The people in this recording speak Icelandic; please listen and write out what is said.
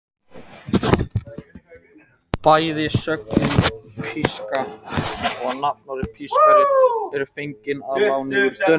Bæði sögnin píska og nafnorðið pískari eru fengin að láni úr dönsku.